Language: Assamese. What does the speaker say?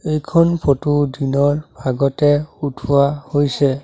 এইখন ফটো দিনৰ ভাগতে উঠোৱা হৈছে।